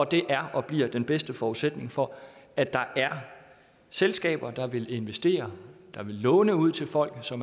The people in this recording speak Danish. det er og bliver den bedste forudsætning for at der er selskaber der vil investere og låne ud til folk så